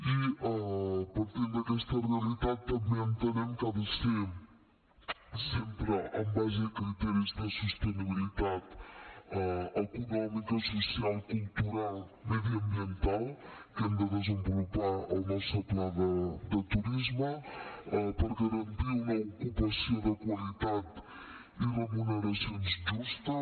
i partint d’aquesta realitat també entenem que ha de ser sempre en base a criteris de sostenibilitat econòmica social cultural mediambiental que hem de desenvolupar el nostre pla de turisme per garantir una ocupació de qualitat i remuneracions justes